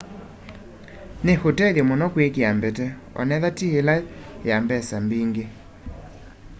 ni utethyo muno kwikia mbete onethwa ti ila ya mbesa mbingi